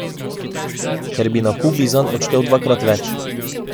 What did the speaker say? Ker bi na Kubi zanj odštel dvakrat več.